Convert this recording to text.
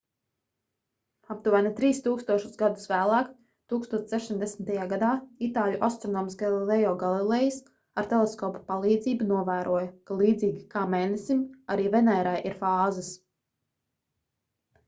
aptuveni trīs tūkstošus gadu vēlāk 1610. gadā itāļu astronoms galileo galilejs ar teleskopa palīdzību novēroja ka līdzīgi kā mēnesim arī venērai ir fāzes